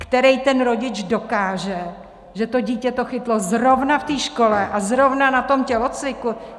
Který ten rodič dokáže, že to dítě to chytlo zrovna v té škole a zrovna na tom tělocviku?